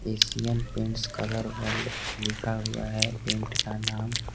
Asian paints colour world लिखा हुआ है पेंट का नाम--